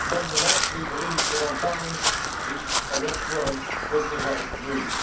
Nonetheless, we believed that, on balance, the arrest warrant was the right move.